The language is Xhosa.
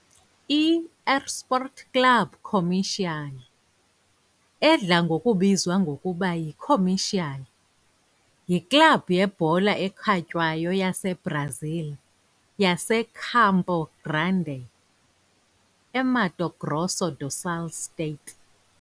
I-Esporte Clube Comercial, edla ngokubizwa ngokuba yiComercial, yiklabhu yebhola ekhatywayo yaseBrazil yaseCampo Grande, eMato Grosso do Sul state.